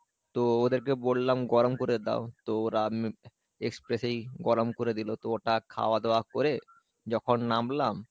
তো ওদের কে বললাম গরম করে দাও, তো ওরা express এই গরম করে দিলো তো ওটা খাওয়া দাওয়া করে যখন নামলাম